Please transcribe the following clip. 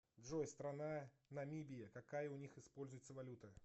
джой страна намибия какая у них используется валюта